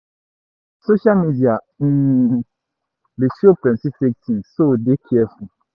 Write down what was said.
Social media um dey show plenty fake things so dey careful